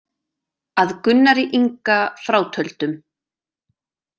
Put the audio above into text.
Að Gunnari Inga frátöldum.